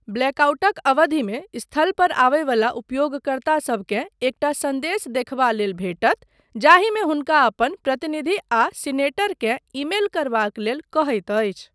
ब्लैकआउटक अवधिमे स्थलपर आबयवला उपयोगकर्तासबकेँ एकटा सन्देश देखबा लेल भेटत जाहिमे हुनका अपन प्रतिनिधि आ सीनेटर केँ ईमेल करबाक लेल कहैत अछि।